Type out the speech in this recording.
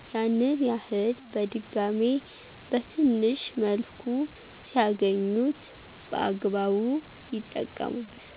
ያንን እድል በድጋሜ በትንሽ መልኩ ሲያገኙት> በአግባብ ይጠቀሙበታል።